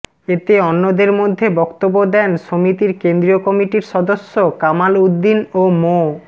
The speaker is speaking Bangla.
এতে অন্যদের মধ্যে বক্তব্য দেন সমিতির কেন্দ্রীয় কমিটির সদস্য কামাল উদ্দিন ও মো